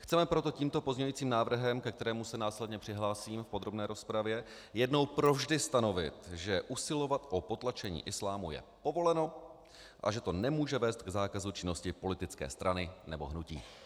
Chceme proto tímto pozměňujícím návrhem, ke kterému se následně přihlásím v podrobné rozpravě, jednou provždy stanovit, že usilovat o potlačení islámu je povoleno a že to nemůže vést k zákazu činnosti politické strany nebo hnutí.